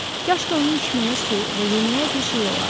Kaş ki onun içməyə suyu və yeməyə bir şey olardı.